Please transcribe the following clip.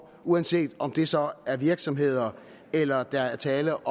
uanset om det så er virksomheder eller der er tale